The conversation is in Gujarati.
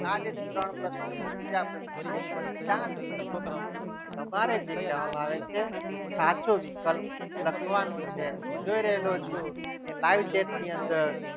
આજે ત્રણ જે બીજા પ્રશ્નોનું ચાર વિકલ્પમાંથી તમારે જે કહેવામાં આવે છે સાચો વિકલ્પ લખવાનો છે હું જોઈ રહ્યો છું કે live chat ની અંદર